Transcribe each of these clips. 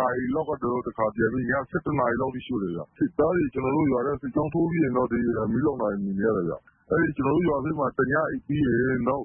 နာရီလောက်က ၆ လုံးရှို့ တယ်။ နေ့လည် ၂ နာရီလောက်က တခါပြန်ပြီး ည ၁၁ နာရီလောက်မှာ တခါထပ်ရှို့တယ်။ စစ်သားတွေ စစ်ကြောင်းထိုးပြီးချိန်မှာ ကျနော်တို့ ရွာထဲ မီးလောင်တာ မြင် ရတယ်။ ကျနော်တို့ ရွာမှာ တညအိပ်ပြီး နော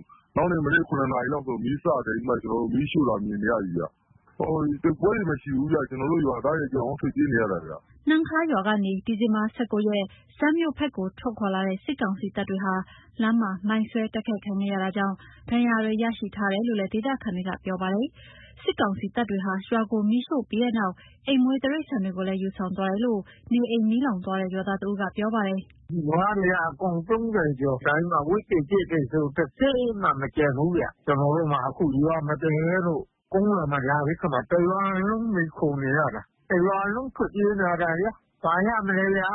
က်နေ့မနက် ၇ နာရီလောက်မှာ မီးရှို့ တာ မြင်နေရပြီခင်ဗျ။ တိုက်ပွဲတွေ မရှိဘူး။ ကျနော်တို့ ရွာသားတွေ အကုန်ထွက်ပြေးနေရတာ။” နှမ်းခါးရွာကနေ ဒီဇင်ဘာ ၁၉ ရက်မှာ စန်းမြို့ဘက်ကို ထွက်ခွာလာတဲ့ စစ်ကောင်စီတပ်တွေဟာ လမ်းမှာ မိုင်းဆွဲတိုက်ခိုက်ခံခဲ့ရတာကြောင့် ဒဏ်ရာရတွေရှိတယ်လို့ ဒေသခံတွေကပြောပါတယ်။ စစ်ကောင်စီတပ်တွေဟာ ရွာကိုမီးရှို့ပြီးနောက် အိမ်မွေးတိရိစ္ဆာန်တွေကိုလည်း ယူဆောင်သွားတယ်လို့ နေအိမ်မီးလောင်သွားတဲ့ ရွာသား တဦးက ပြောပါတယ်။ “နွားတွေက အကောင် ၃၀ ကျော်၊ ဝက်တွေ၊ ကြက်တွေဆို တစက်မှ မကျန်ဘူးဗျ။ ကျနော်တို့မှာ ရွာမပြန်ရဲလို့ ကုန်းရွာမှာ တရွာလုံးမှီခိုနေရတာ။ တရွာလုံးထွက်ပြေးလာရတာ ဘာရမလဲဗျာ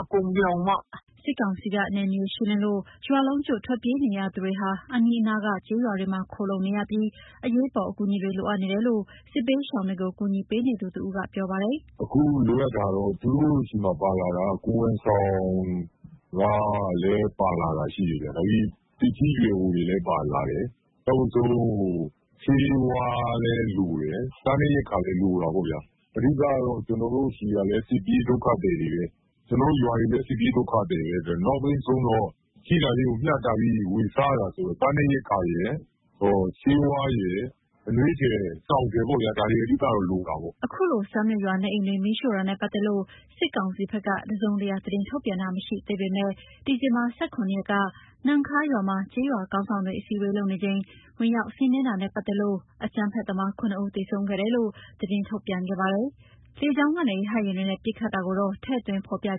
အကုန်ပြောင်ပေါ့။” စစ်ကောင်စီက နယ်မြေရှင်းလင်းလို့ ရွာလုံးကျွတ် ထွက်ပြေးနေရသူတွေဟာ အနီးနားက ကျေးရွာတွေမှာ ခိုလှုံနေရပြီး အရေးပေါ်အကူအညီတွေ လိုအပ်နေတယ်လို့ စစ်ဘေးရှောင်တွေကို ကူညီပေးနေသူတဦးက ပြောပါတယ်။ “အခုလိုအပ်တာက သူတို့ဆီမှာ ပါလာတာက ကိုယ်ဝန်ဆောင်ကလည်း ပါလာတာရှိတယ်။ သက်ကြီး ရွယ်အိုတွေလည်း ပါလာတယ်။ ဆေးဝါးလည်းလိုတယ်။ စားနပ်ရိက္ခာလည်း လိုတာပေါ့ဗျာ။ အဓိက ကျွန်တော်တို့ဆီကလည်း စစ်ပြေးဒုက္ခသည်တွေပဲ။ ကျနော်တို့ရွာလည်း စစ်ပြေးဒုက္ခသည်ပဲ။ နောက်ဆုံး ရှိတာလေးကို ဝေမျှပြီး စားနေရတာဆိုတော့ စားနပ်ရိက္ခာရယ်၊ ဆေးဝါးရယ်၊ အနွေးထည်၊ စောင်ထည်ပေါ့ ဒါတွေ အဓိကလိုတာပေါ့။” အခုလို စန်းမြို့ရွာ နေအိမ်တွေမီးရှို့တာနဲ့ ပတ်သက်လို့ စစ်ကောင်စီက တစုံတရာ သတင်းထုတ်ပြန်တာ မရှိသေးပေမယ့် ဒီဇင်ဘာ ၁၇ ရက်က နှမ်းခါးရွာမှာ ကျေးရွာခေါင်းဆောင်တွေ အစည်းဝေးလုပ်နေချိန် ဝင်ရောက်စီးနင်းတာနဲ့ ပတ်သက်လို့ အကြမ်းဖက်သမား ၇ ဦး သေဆုံးခဲ့တယ်လို့ သတင်းထုတ်ပြန်ခဲ့ပါတယ်။ လေကြောင်းကနေ ရဟတ်ယာဉ်တွေနဲ့ ပစ်ခတ်တာကိုတော့ ထည့်သွင်း မဖော်ပြခ